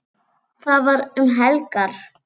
Þetta var um helgar.